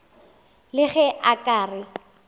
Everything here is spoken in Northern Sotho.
le ge a ka re